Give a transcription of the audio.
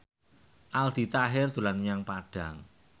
Aldi Taher dolan menyang Padang